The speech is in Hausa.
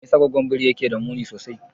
Me yasa goggon biri yake da muni sosai?